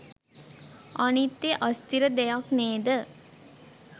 අනිත්‍ය අස්ථිර දෙයක් නේද?